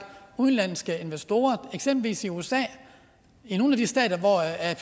udenlandske investorer eksempelvis i usa i nogle af de stater hvor